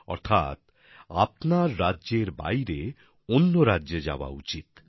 অর্থাৎ আপনার রাজ্যের বাইরে অন্য রাজ্যে যাওয়া উচিত